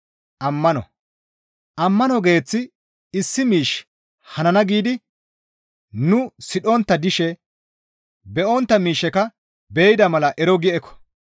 Ammano geeththi issi miishshe hanana giidi nu sidhontta dishe be7ontta miishsheka be7ida mala ero gi eko.